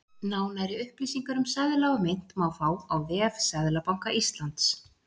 Nánari upplýsingar um seðla og mynt má fá á vef Seðlabanka Íslands.